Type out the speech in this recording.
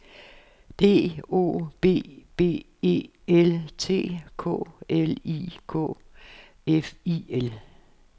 D O B B E L T K L I K F I L